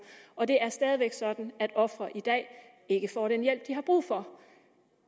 og det er stadig væk sådan at ofre i dag ikke får den hjælp de har brug for